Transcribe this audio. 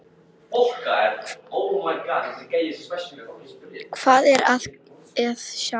Hvað er að sjá